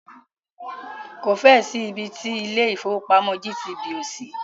Kò fẹ́ ẹ̀ sí ibi ti ilé ìfọwọ́pamo GTB ò sí.